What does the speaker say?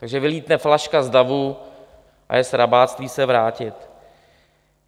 Takže vylétne flaška z davu a je srabáctví se vrátit.